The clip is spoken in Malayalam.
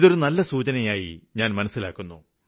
ഇത് നല്ലൊരു സൂചനയായി ഞാന് കാണുന്നു